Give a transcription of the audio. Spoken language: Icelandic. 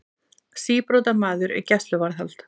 Síbrotamaður í gæsluvarðhald